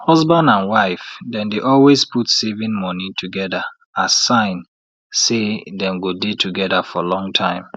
husband and wife dem dey always put saving money together as sign say dem go dey together for long time